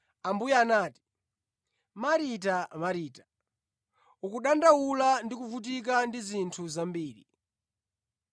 Ambuye anati, “Marita, Marita, ukudandaula ndi kuvutika ndi zinthu zambiri,